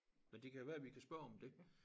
Men det kan jo være vi kan spørge om det